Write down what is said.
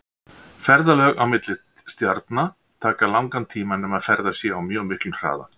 Ferðalög á milli stjarna taka langan tíma nema ferðast sé á mjög miklum hraða.